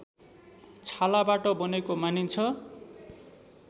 छालाबाट बनेको मानिन्छ